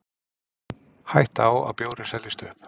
Hætta á að bjórinn seljist upp